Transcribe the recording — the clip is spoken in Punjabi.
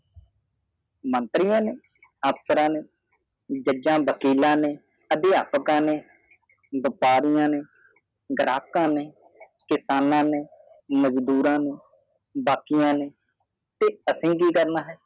ਮੰਤਰੀਆਂ ਨੂੰ ਅਫਸਰਾਂ ਨੂੰ ਜਜਾਂ ਵਕੀਲ ਨੂੰ ਅਧਿਪੀਯਾਕਾ ਨੂੰ ਵਾਪਿਆਰੀਆ ਨੂੰ ਘਰਕਾ ਨੂੰ ਕਿਸਨਾ ਨੂੰ ਮਜਦੂਰਾ ਨੂੰ ਡਿਕੀਆ ਨੂੰ ਤੇ ਅਗਾਸੀ ਕੀ ਕਰਨਾ ਹਾਏ ਮਾਂਤਰੀ ਨੂੰ